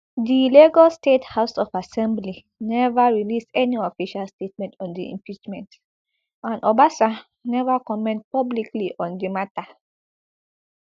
di lagos state house of assembly neva release any official statement on di impeachment and obasa neva comment publicly on di mata